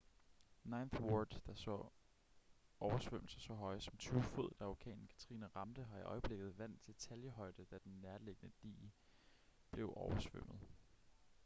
ninth ward der så oversvømmelser så høje som 20 fod da orkanen katrina ramte har i øjeblikket vand til taljehøjde da den nærliggende dige blev oversvømmet